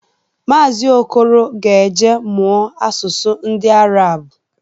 Maazi Okoro ga-eje mụọ asụsụ ndị Arab